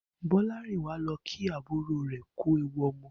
Bó̩lárìnwá lo̩ kí àbúrò rè̩ kú ewu o̩mo̩